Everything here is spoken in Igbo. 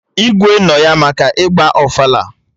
Igwe nọ ya maka ịgba ofala